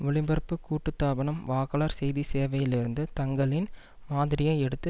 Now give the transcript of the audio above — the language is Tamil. ஒளிபரப்பு கூட்டுத்தாபனம் வாக்காளர் செய்திச்சேவையிலிருந்து தங்களின் மாதிரியை எடுத்து